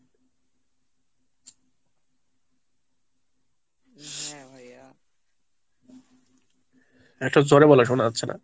একটু জোরে বলা শোনা যাচ্ছে না।